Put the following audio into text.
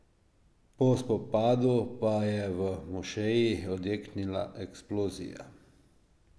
Po spopadu pa je v mošeji odjeknila eksplozija.